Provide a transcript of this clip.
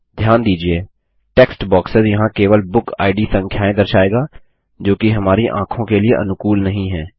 ध्यान दीजिये text boxes यहाँ केवल बुकिड संख्याएँ दर्शाएगा जोकि हमारी आँखों के लिए अनुकूल नहीं है